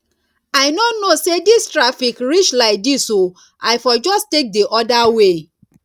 i no know say dis traffic reach like dis oo i for just take the other way